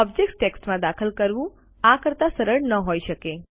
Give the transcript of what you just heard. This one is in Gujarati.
ઓબ્જેક્ત્સમાં ટેક્સ્ટ દાખલ કરવું આ કરતાં સરળ ન હોય શકે